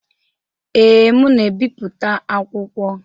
Ee, m na-ebipụta akwụkwọ.